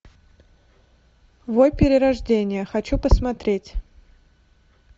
вой перерождение хочу посмотреть